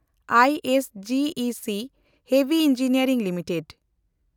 ᱟᱭ S G E C ᱦᱟᱢᱟᱞ engineering limited